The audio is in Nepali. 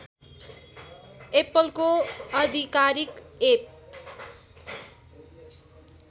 एप्पलको आधिकारिक एप